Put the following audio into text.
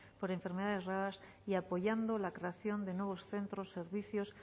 por enfermedades raras y apoyando la creación de nuevos centros servicios